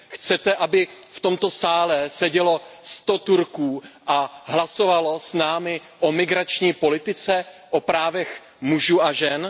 Chcete, aby v tomto sále sedělo 100 Turků a hlasovalo s námi o migrační politice, o právech mužů a žen?